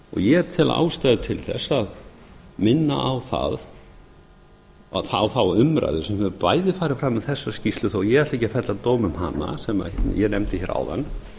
ég tel ástæðu til þess að minna á þá umræðu sem hefur bæði farið fram um þessa skýrslu þó að ég ætli ekki að fella dóm um hana sem ég nefndi hér áðan